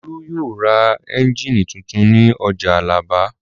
Olú yóò ra ẹ́ńjínì tuntun ní ọjà Alábà.